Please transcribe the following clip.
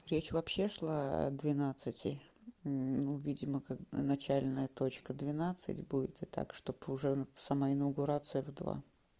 речь вообще шла о двенадцати ну видимо как начальная точка двенадцать будет и так чтобы уже сама инаугурация в два